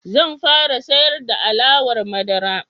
Zan fara siyar da alawar madara.